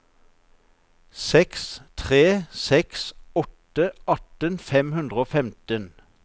seks tre seks åtte atten fem hundre og femten